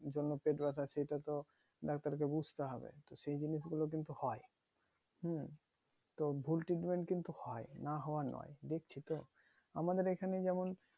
জন্য ওয়েট ব্যাথা সেটা তো ডাক্তার কে বুঝতে হবে সেই জিনিষ গুলো কিন্তু হয় হুম তো ভুল treatment কিন্তু হয় না হওয়া নোই দেখছি তো আমাদের এখানে যেমন